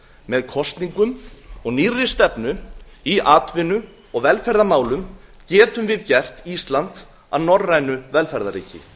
með kosningum og nýrri stefnu í atvinnu og velferðarmálum getum við gert ísland að norrænu velferðarríki